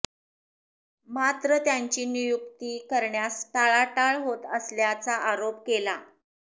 मात्र त्यांची नियुक्ती करण्यास टाळाटाळ होत असल्याचा आरोप केला